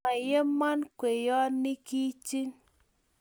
moyemon kweyonikchich